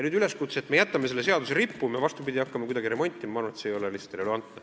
Üleskutse, et jätame selle seaduse õiguskorda rippuma või hakkame seda kuidagi remontima, ma arvan, ei ole lihtsalt relevantne.